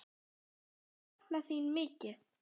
Þau sakna þín mikið.